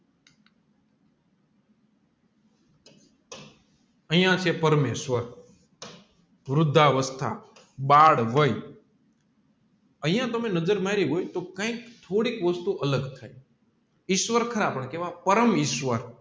અહીંયા કે પરમેશ્વર વૃધાવસ્થા બાળવાય અહીંયા તમે નજર મયરી હોય તો કૈક થોડીક વસ્તુ અલગ થાય ઈશ્વર ખરા પણ પરમ ઈશ્વર